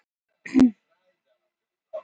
Mannabein fundust í uppistöðulóni